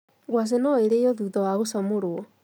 Ngwacĩ no irĩo thutha wa gũcamũrwo.